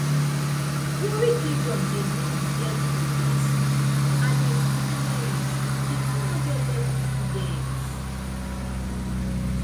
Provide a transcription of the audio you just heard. warri kingdom dey mourn di death of dia son alex timilehin di two hundred level student